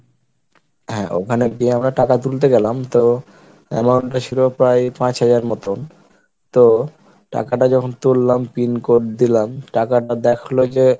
হ্যাঁ, ওখানে গিয়ে আমরা টাকা তুলতে গেলাম তো amount টা ছিল প্রায় পাঁচ হাজার মতন তো টাকাটা যখন তুললাম PIN code দিলাম টাকাটা দেখালো যে